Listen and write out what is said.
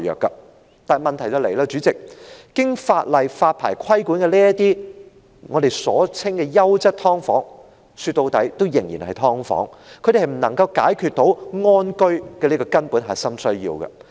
雖然如此，代理主席，這裏的問題是，經法例發牌規管的所謂"優質劏房"，說到底仍然是"劏房"，它們無法解決"安居"這個根本核心需要。